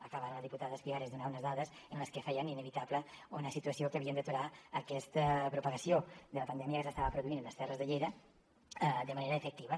acaba ara la diputada espigares de donar unes dades que feien inevitable una situació que havíem d’aturar aquesta propagació de la pandèmia que s’estava produint en les terres de lleida de manera efectiva